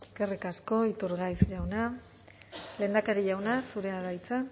eskerrik asko iturgaiz jauna lehendakari jauna zurea da hitza